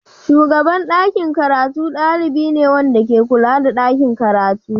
Shugaban ɗakin karatu ɗalibi ne wanda ke kula da ɗakin karatu.